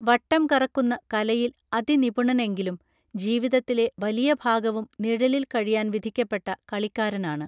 വട്ടം കറക്കുന്ന കലയിൽ അതിനിപുണനെങ്കിലും ജീവിതത്തിലെ വലിയ ഭാഗവും നിഴലിൽ കഴിയാൻ വിധിക്കപ്പെട്ട കളിക്കാരനാണ്